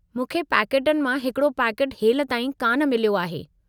मूंखे पैकेटनि मां हिकड़ो पैकेटु हेलिताईं कान मिलियो आहे।